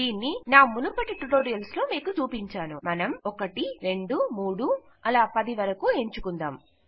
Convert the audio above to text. దీనిని నా మునుపటి ట్యుటోరిఅల్స్ లో మీకు చూపించాను మనం 1 2 3 4 5 6 7 8 9 మరియు 10 నంబర్లను ఎంచుకుందాం